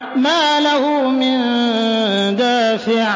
مَّا لَهُ مِن دَافِعٍ